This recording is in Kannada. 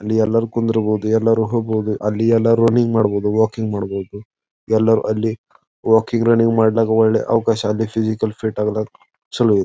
ಇಲ್ಲಿ ಎಲ್ಲರು ಕುಂದಿರಬಹುದು ಎಲ್ಲರು ಹೋಗಬಹುದು ಅಲ್ಲಿ ಎಲ್ಲರು ರನ್ನಿಂಗ್ ಮಾಡಬಹುದು ವಾಕಿಂಗ್ ಮಾಡಬಹುದು ಎಲ್ಲರು ಅಲ್ಲಿ ವಾಕಿಂಗ್ ರನ್ನಿಂಗ್ ಮಾಡಲಾಕ ಒಳ್ಳೆ ಅವಕಾಶ ಅಲ್ಲಿ ಫಿಸಿಕಲ್ ಫಿಟ್ ಆಗಲು ಚಲೋ ಇದೆ.